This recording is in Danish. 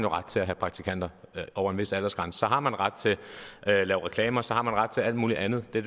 ret til at have praktikanter over en vis aldersgrænse så har man ret til at lave reklamer så har man ret til alt muligt andet det